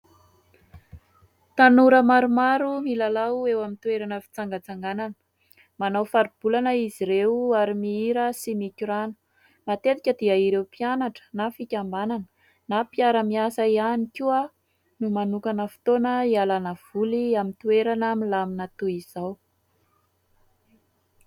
Tanora maromaro milalao eo amin'ny toerana fitsangantsanganana, manao faribolana izy ireo, ary mihira sy mikorana. Matetika dia ireo mpianatra, na fikambanana, na mpiara-miasa ihany koa no manokana fotoana ialana voly, amin'ny toerana milamina toy izao.